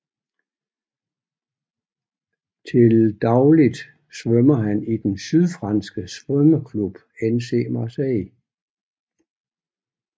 Til dagligt svømmer han i den sydfranske svømmeklub CN Marseille